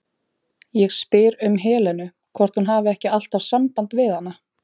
Ég spyr um Helenu, hvort hún hafi ekki alltaf samband við hana?